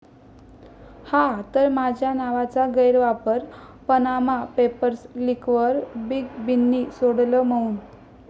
...हा तर माझ्या नावाचा गैरवापर, पनामा पेपर्स लीकवर बिग बींनी सोडलं मौन